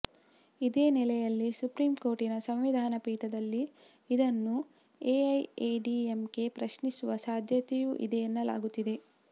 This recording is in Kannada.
ಇದೇ ನೆಲೆಯಲ್ಲಿ ಸುಪ್ರೀಂ ಕೋರ್ಟಿನ ಸಂವಿಧಾನ ಪೀಠದಲ್ಲಿ ಇದನ್ನು ಎಐಎಡಿಎಂಕೆ ಪ್ರಶ್ನಿಸುವ ಸಾಧ್ಯತೆಯೂ ಇದೆ ಎನ್ನಲಾಗುತ್ತಿದೆ